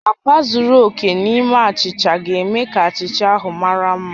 Akwa zuru oke n'ime achicha ga-eme ka achicha ahụ mara mma